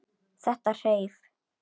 Þetta hreif.